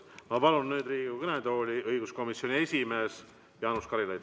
Ma palun nüüd Riigikogu kõnetooli õiguskomisjoni esimehe Jaanus Karilaiu.